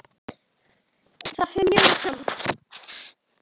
Það fer mjög vel saman.